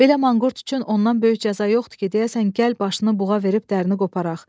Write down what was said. Belə manqurt üçün ondan böyük cəza yoxdur ki, deyəsən, gəl başını buğa verib dərisini qoparaq.